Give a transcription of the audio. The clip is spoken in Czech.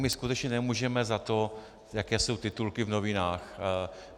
My skutečně nemůžeme za to, jaké jsou titulky v novinách.